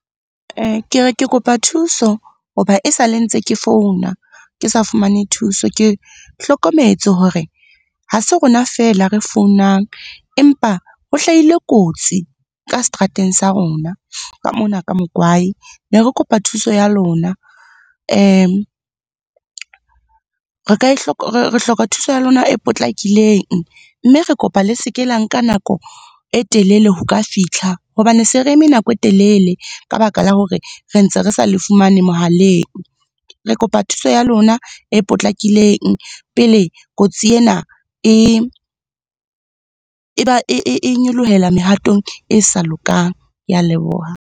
Ke re ke kopa thuso ho ba e sale ntse ke founa, ke sa fumane thuso Ke hlokometse hore ha se rona feela re founang, empa ho hlahile kotsi ka seterateng sa rona ka mona ka Mokwai. Ne re kopa thuso ya lona, re ka e , re hloka thuso ya lona e potlakileng, mme re kopa le seke la ka nka nako e telele ho ka fihla. Hobane se re eme nako e telele ka baka la hore re ntse re sa le fumane mohaleng. Re kopa thuso ya lona e potlakileng pele kotsi ena e nyolohela mehatong e sa lokang. Ke a leboha.